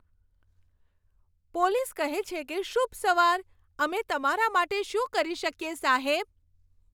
Police કહે છે કે, શુભ સવાર. અમે તમારા માટે શું કરી શકીએ, સાહેબ?